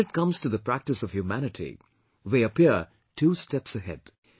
And when it comes to the practice of humanity, they appear two steps ahead